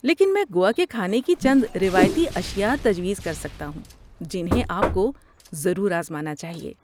لیکن میں گوا کے کھانے کی چند روایتی اشیاء تجویز کر سکتا ہوں جنہیں آپ کو ضرور آزمانا چاہیے۔